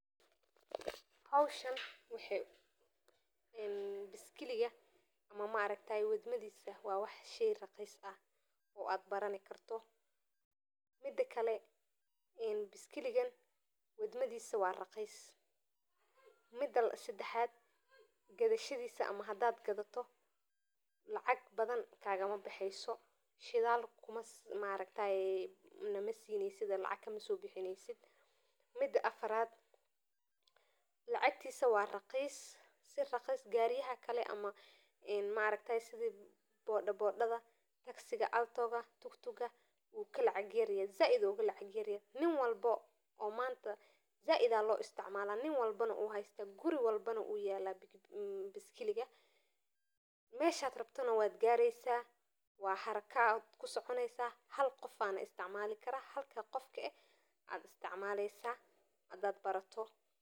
Howshaan oo biskiliga wadmadi wa how fudud oo raqiis ah mida kale gadashadisa shidal kagamabaxayo. Mida kale gadashadisa wa raqiis o sida gawarida motoyinka wukaraqisanyahay oo manta said aya laisocmala guri walbo ayuyala biskiliga meesha rabto ayad kuadeysa hal ayana isticmali kara.